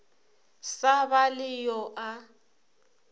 sa ba le yo a